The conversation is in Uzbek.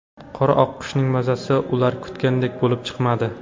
Qora oqqushning mazasi ular kutgandek bo‘lib chiqmadi.